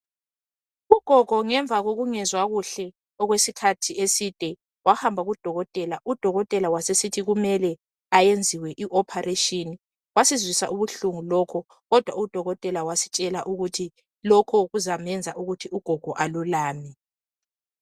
ugogo ngemva kokungezwa kuhle okwesikhathi eside wahamba ku dokotela u dokotela wasesithi kumele ayenziwe i operation kwasizwisa ubuhlungu lokhu kodwa u dokotela wasitshela ukuthi lokhu kuzamenza ugogo alulame